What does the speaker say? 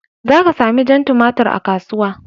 Za ka sami jan tumatir a kasuwa.